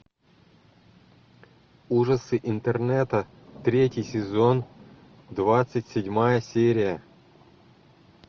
ужасы интернета третий сезон двадцать седьмая серия